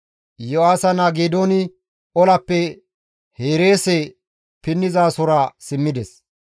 Iyo7aasa naa Geedooni olappe Hereese pinnizasora simmides.